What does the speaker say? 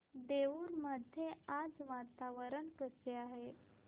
देऊर मध्ये आज वातावरण कसे आहे